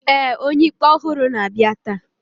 ee, onye-ikpe ọhụrụ na-abịa taa